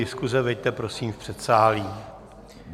Diskuse veďte prosím v předsálí.